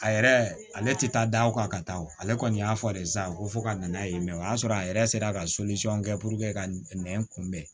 A yɛrɛ ale ale tɛ taa da o kan ka taa o ale kɔni y'a fɔ de sa ko fo ka n'a ye o y'a sɔrɔ a yɛrɛ sera ka kɛ ka nɛn kunbɛn